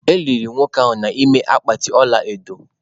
E liri nwoke ahụ n’ime akpatị ọla edo.